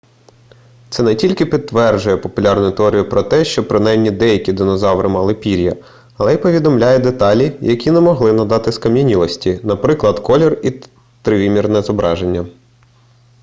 це не тільки підтверджує популярну теорію про те що принаймні деякі динозаври мали пір'я але і повідомляє деталі які не могли надати скам'янілості наприклад колір і тривимірне зображення